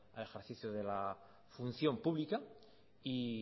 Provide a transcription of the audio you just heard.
al ejercicio de la función pública y